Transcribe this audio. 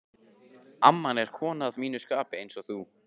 amman er kona að mínu skapi, einsog þú.